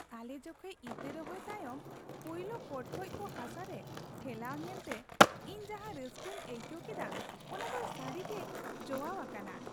ᱟᱞᱮ ᱡᱚᱠᱷᱮᱡ ᱤᱛᱟᱹ ᱨᱚᱦᱚᱭ ᱛᱟᱭᱚᱢ ᱯᱳᱭᱞᱳ ᱯᱚᱴᱠᱚᱡ ᱠᱚ ᱦᱟᱥᱟᱨᱮ ᱴᱷᱮᱞᱟᱣ ᱧᱮᱞᱛᱮ ᱤᱧ ᱡᱟᱸᱦᱟ ᱨᱟᱹᱥᱠᱟᱹᱧ ᱟᱹᱭᱠᱟᱹᱣ ᱠᱮᱫᱟ ᱚᱱᱟ ᱫᱚ ᱥᱟᱹᱨᱤᱜᱮ ᱡᱚᱣᱟᱣ ᱟᱠᱟᱱᱟ ᱾